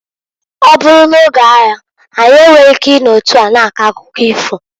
Ọ bụrụ n'oge aya anyị enweghi ike i no otu a na-akọ akụkọ ifo.